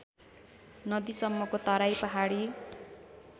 नदीसम्मको Terai Pahadi